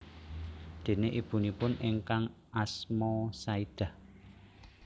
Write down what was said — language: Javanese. Déné ibunipun ingkang asma Saidah